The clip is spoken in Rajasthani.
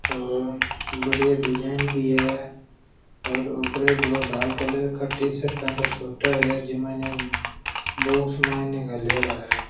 बड़े डिजाइन भी है और ऊपर दो लाल कलर के टीशर्ट पेंट सुटर है जिम ने बॉक्स माइन घालेड़ा है।